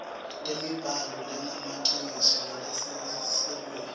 temibhalo lengemaciniso nalesuselwe